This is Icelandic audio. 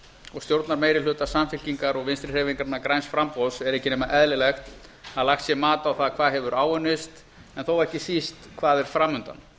og stjórnarmeirihluta samfylkingar og vinstri hreyfingarinnar græns framboðs er ekki nema eðlilegt að lagt sé mat á það hvað hefur áunnist en þó ekki síst hvað er fram undan